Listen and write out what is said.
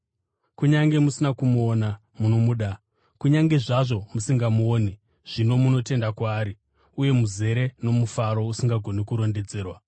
Kunyange musina kumuona, munomuda; kunyange zvazvo musingamuoni zvino, munotenda kwaari uye muzere nomufaro usingagoni kurondedzerwa,